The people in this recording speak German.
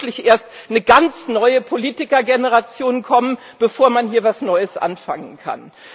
Oder muss wirklich erst eine ganz neue Politikergeneration kommen, bevor man hier etwas Neues anfangen kann?